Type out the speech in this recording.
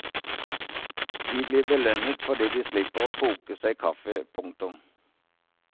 De blir belønnet fordi de slipper å koke seg kaffe. punktum